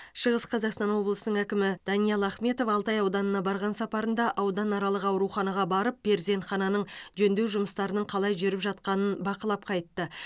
шығыс қазақстан облысының әкімі әкімі даниал ахметов алтай ауданына барған сапарында ауданаралық ауруханаға барып перзентхананың жөндеу жұмыстарының қалай жүріп жатқанын бақылап қайтты